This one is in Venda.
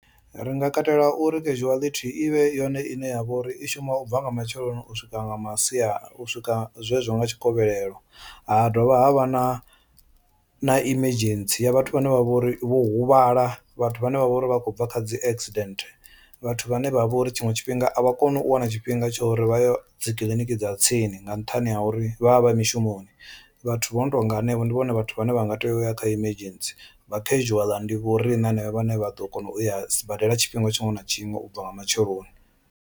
Ri nga katela uri casuality i vhe yone ine ya vha uri i shuma u bva nga matsheloni u swika nga masiari u swika zwezwo nga tshikovhelelo, ha dovha ha vha na na emergency ya vhathu vhane vha vho ri vho huvhala vhathu vhane vha vha uri vha khou bva kha dzi accident, vhathu vhane vha vha uri tshiṅwe tshifhinga avha koni u wana tshifhinga tsha uri vha ye dzi kiḽiniki dza tsini nga nṱhani ha uri vha vha vha mishumoni. Vhathu vho no tonga hanevho ndi vhone vhathu vhane vha nga tea u ya kha emergency vha casual ndi vho riṋe hanevha vhane vha ḓo kona u ya sibadela tshifhinga tshiṅwe na tshiṅwe ubva nga matsheloni.